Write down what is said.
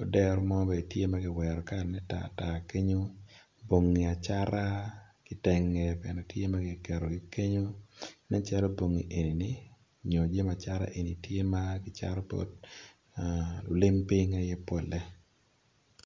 odero mo bene tye magiwero kala ma tatat kenyo bongi acata kitenge magiketo ki kenyo nen calo bongi enini nyo jami acata eni tye ma acata pol lulim ping aye pole.